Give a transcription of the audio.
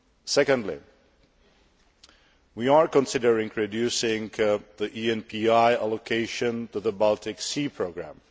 Secondly, we are considering reducing the ENPI allocation to the Baltic Sea programme.